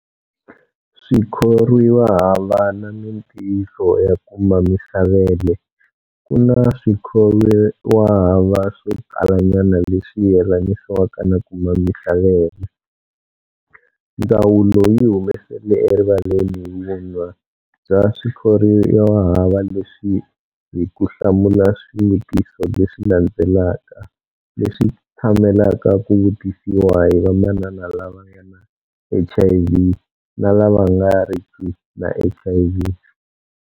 Swikhorwiwahava na mitiyiso ya ku mamisa vele Ku na swikhorwiwahava swo talanyana leswi yelanisiwaka na ku mamisa vele, ndzawulo yi humesele erivaleni vunwa bya swikhorwiwahava leswi hi ku hlamula swivutiso leswi landzelaka leswi tshamelaka ku vutisiwa hi vamanana lava nga na HIV na lava nga riki na HIV.